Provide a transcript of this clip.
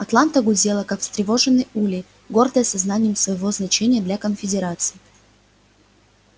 атланта гудела как растревоженный улей гордая сознанием своего значения для конфедерации